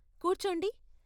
కూర్చోండి.